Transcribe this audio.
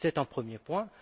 C'est un premier point.